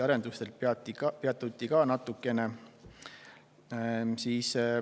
Arenduste teemal peatuti ka natukene.